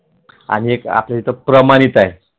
आणि एक आपल्या इथे प्रमाणित आहे